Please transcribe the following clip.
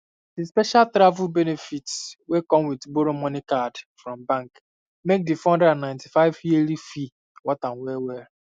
the special travel benefits wey come with borrow money card from bank make the 495 yearly fee worth am wellwell